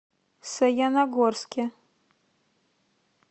саяногорске